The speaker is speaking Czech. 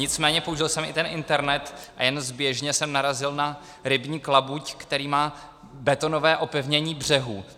Nicméně použil jsem i ten internet a jen zběžně jsem narazil na rybník Labuť, který má betonové opevnění břehů.